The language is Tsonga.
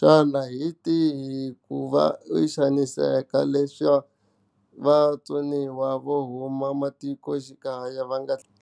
Xana hi tihi ku va i xaniseka leswaku vatsoniwa vo huma matikoxikaya va nga.